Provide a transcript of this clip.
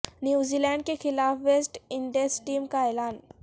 New Zealand کے خلاف West Indies team کا اعلان